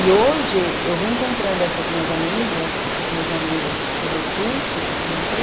E hoje, eu reencontrando essas minhas amigas, esses meus amigos pelo Orkut, que eu comentei,